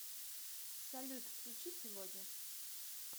салют включи сегодня